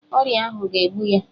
Ọrịa ahụ ga-egbu ya